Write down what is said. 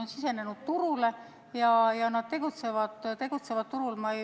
Nad on sisenenud turule ja tegutsevad turul.